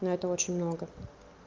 ну это очень много